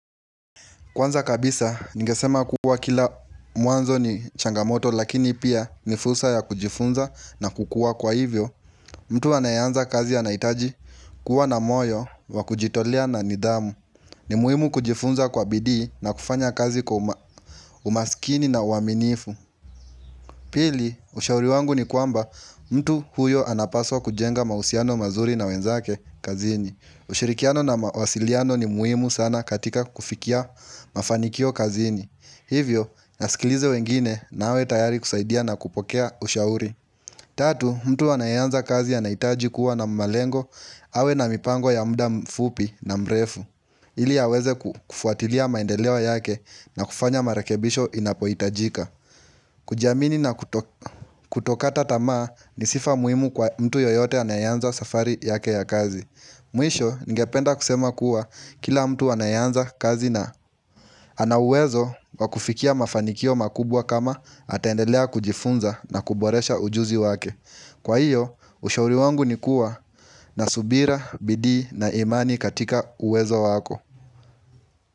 Kwanza kabisa ningesema kuwa kila mwanzo ni changamoto lakini pia nifursa ya kujifunza na kukua kwa hivyo mtu anayeanza kazi anaitaji kuwa na moyo wa kujitolea na nidhamu ni muhimu kujifunza kwa bidii na kufanya kazi kwa umaskini na uaminifu Pili ushauri wangu ni kwamba mtu huyo anapaswa kujenga mahusiano mazuri na wenzake kazini ushirikiano na mawasiliano ni muhimu sana katika kufikia mafanikio kazini Hivyo, nasikilize wengine na awe tayari kusaidia na kupokea ushauri Tatu, mtu anayeanza kazi anaitaji kuwa na malengo awe na mipango ya muda mfupi na mrefu ili aweze kufuatilia maendeleo yake na kufanya marekebisho inapoitajika kujiamini na kutokata tamaa ni sifa muhimu kwa mtu yoyote anayeanza safari yake ya kazi Mwisho, ningependa kusema kuwa kila mtu anayeanza kazi na ana uwezo wakufikia mafanikio makubwa kama atendelea kujifunza na kuboresha ujuzi wake. Kwa hiyo, ushauri wangu ni kuwa na subira, bidii na imani katika uwezo wako.